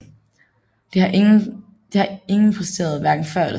Det har ingen præsteret hverken før eller siden